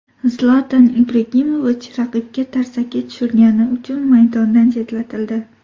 Zlatan Ibragimovich raqibga tarsaki tushirgani uchun maydondan chetlatildi .